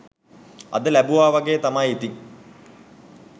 අද ලැබුවා වගේ තමයි ඉතින්